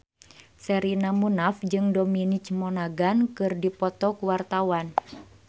Sherina Munaf jeung Dominic Monaghan keur dipoto ku wartawan